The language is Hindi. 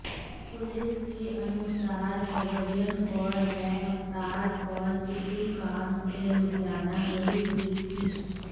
पुलिस के अनुसार हरभजन कौर व अवतार कौर किसी काम से लुधियाना गई हुई थीं